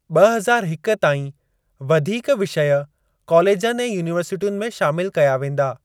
ॿ हज़ार हिक ताईं वधीक विषय कॉलेजनि ऐं यूनीवर्सिटियुनि में शामिल कया वेंदा।